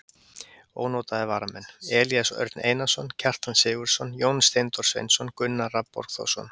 Ónotaðir varamenn: Elías Örn Einarsson, Kjartan Sigurðsson, Jón Steindór Sveinsson, Gunnar Rafn Borgþórsson.